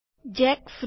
jackfruit